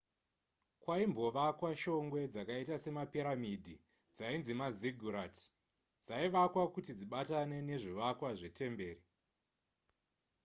kwaimbovakwa shongwe dzakaita semapiramidhi dzainzi maziggurat, dzaivakwa kuti dzibatane nezvivakwa zvetemberi